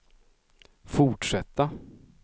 fortsätta